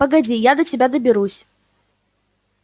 погоди я до тебя доберусь